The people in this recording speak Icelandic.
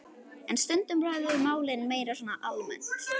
En stundum ræðum við málin meira svona almennt.